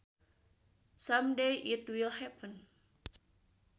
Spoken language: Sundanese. Some day it will happen